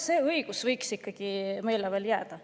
See õigus võiks jääda ikka meile.